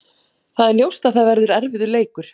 Það er ljóst að það verður erfiður leikur.